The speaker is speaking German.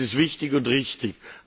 Das ist wichtig und richtig.